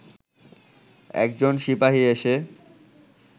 একজন সিপাহি এসে